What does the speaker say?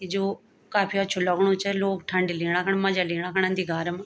ई जो काफी अछू लगणु च लोग ठंडी लीणा खण मजा लीणा खण आन्दी घारम।